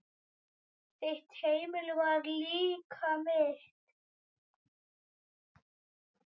Þitt heimili var líka mitt.